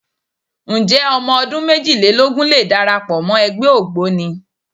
Ǹjẹ́ ọmọ ọdún méjìlélógún lè darapọ̀ wọ ẹgbẹ́ Ògboni?